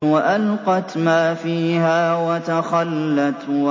وَأَلْقَتْ مَا فِيهَا وَتَخَلَّتْ